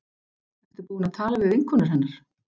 Ertu búin að tala við vinkonur hennar?